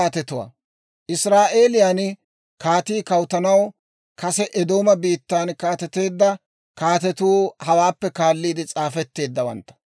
Israa'eelan kaatii kawutanaappe kase Eedooma biittan kaateteedda kaatetu hawaappe kaalliide s'aafetteeddawantta.